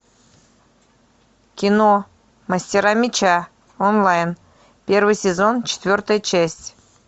кино мастера меча онлайн первый сезон четвертая часть